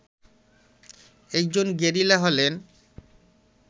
একজন গেরিলা হলেন